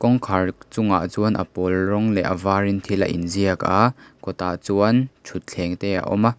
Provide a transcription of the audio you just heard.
kawngkhar chungah chuan a pawl rawng leh a var in thil in ziak aaa kawt ah chuan thutthleng te a awm a.